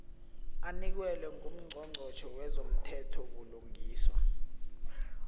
anikelwe ngungqongqotjhe wezomthethobulungiswa